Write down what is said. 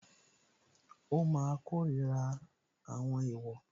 Ó máa kórira àwọn èèwọ̀